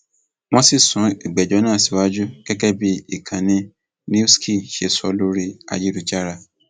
wọn ti sún ìgbẹjọ náà síwájú gẹgẹ bí ìkànnì newssky ṣe sọ lórí ayélujára